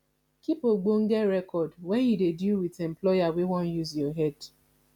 keep ogbonge record when you dey deal with employer wey wan use your head